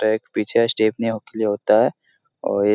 पीछे स्टेफनीयो के लिए होता है और ए --